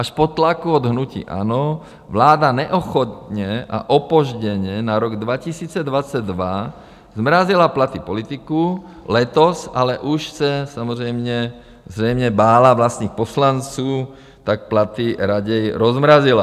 Až po tlaku od hnutí ANO vláda neochotně a opožděně na rok 2022 zmrazila platy politiků, letos ale už se samozřejmě zřejmě bála vlastních poslanců, tak platy raději rozmrazila.